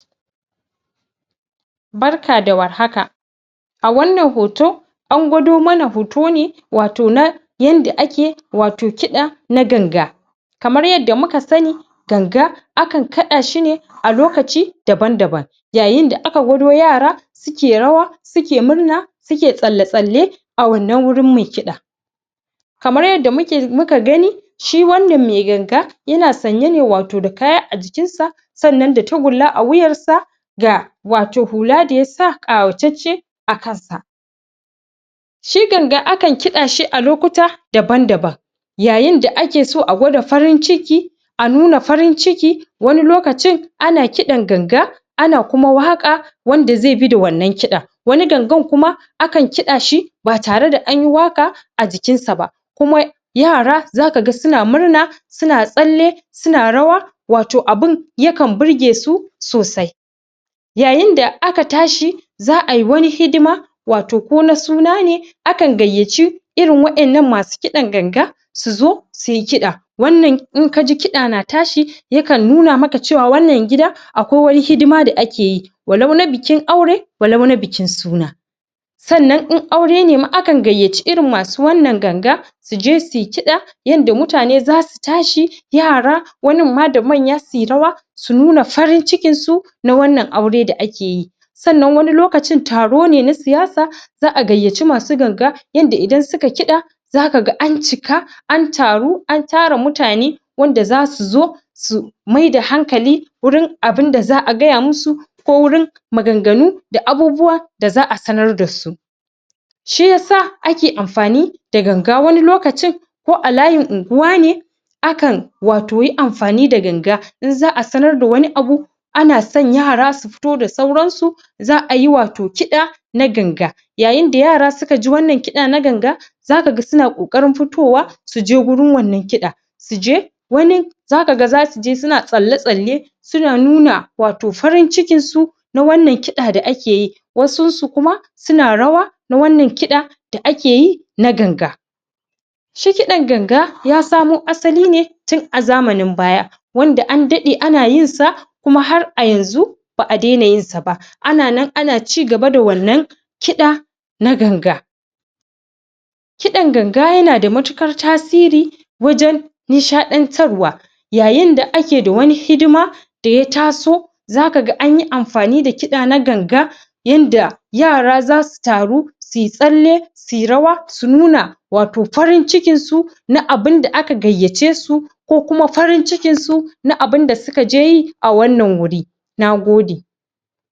Barka war haka! A wannan hoto, an gwado mana hoto ne wato na yanda ake wato kiɗa na ganga. Kamar yadda muka sani, ganga akan kaɗa shi ne a lokaci daban-daban. Yayin da aka gwado yara suke rawa, suke murna, suke tsalle-tsalle a wannan wurin mai kiɗa. Kamar yadda muke gani, shi wannan mai ganga yana sanye ne wato da kaya a jikinsa sannan da tagulla a wuyarsa da wato hula da ya sa ƙawatacce a kansa. Shi ganga akan kiɗa shi a lokuta daban-daban yayin da ake so a nuna farin ciki, a nuna farin ciki. Wani lokacin ana kiɗan ganga, ana kuma waƙa wanda zai bi da wannan kiɗan Wani gangan kuma akan kiɗa shi ba tare da an yi waƙa a jikinsa ba, kuma yara za ka ga suna murna suna tsalle, suna rawa. Wato abin yakan birge su sosai. Yayin da aka tashi za a yi wani hidima wato ko na suna ne akan gayyaci irin waƴannan masu kiɗan ganga su zo su yi kiɗa. Wannan in ka ji kiɗa na tashi, yakan nuna maka cewa wannan gida akwai wani hidima da ake yi, walau na bikin aure walau na bikin suna. Sannan in aure ne ma akan gayyaci irin masu wannan ganga su je su yi kiɗa yanda mutane za su tashi, yara, wanin ma da manya su yi rawa su nuna farin cikinsu na wannan aure da ake yi. Sannan wani lokacin, taro ne na siyasa. Za a gayyaci masu ganga yanda idan suka kiɗa za ka ga an cika, an taru, an tara mutane wanda za su zo su maida hankali wurin abin da za a gaya musu wurin maganganu da abubuwa da za a sanar da su. Shi ya sa ake amfani da ganga wani lokacin ko a layin unguwa ne akan wato amfani da ganga in za a sanar da wani abu ana son yara su fito da sauransu, za a yi wato kiɗa na ganga Yayin da yara suka ji wannan kiɗa na ganga, za ka ga suna ƙoƙarin fitowa su je wurin wannan kiɗa su je, wanin za ka ga za su je suna tsalle-tsalle Suna nuna wato farin cikinsu na wannan kiɗa da ake yi. Wasunsu kuma suna rawa na wannan kiɗa da ake yi na ganga Shi kiɗan ganga ya samo asali ne tun a zamanin baya, wanda an daɗe ana yin sa kuma har a yanzu ba a daina yinsa ba ana nan ana ci gaba da wannan kiɗa na ganga. Kidan ganga yana da matuƙar tasiri wajen nishaɗantarwa Yayin da ke da wani hidima da ya taso, za ka ga an yi amfani da kiɗa na ganga yanda yara za su taru su yi tsalle, su yi rawa, su nuna wato farin cikinsu na abin da aka gayyace su ko kuma farin cikinsu na abin da suka je yi a wannan wuri. Na gode.